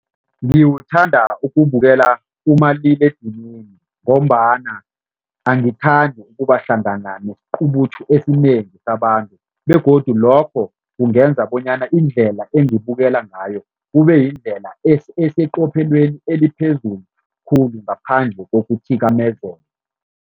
Ngiwuthanda ukuwubukela kumaliledinini ngombana angithandi ukubahlangana nesiqubuthu esinengi sabantu begodu lokho kungenza bonyana indlela engibukela ngayo kube yindlela eseqophelweni eliphezulu khulu ngaphandle kokuthikamezeka.